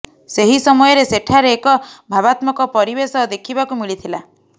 ସେହି ସମୟରେ ସେଠାରେ ଏକ ଭାବାତ୍ମକ ପରିବେଶ ଦେଖିବାକୁ ମିଳିଥିଲା